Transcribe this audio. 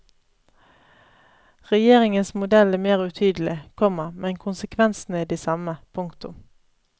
Regjeringens modell er mer utydelig, komma men konsekvensene er de samme. punktum